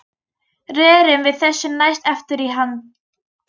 Rerum við þessu næst aftur í land.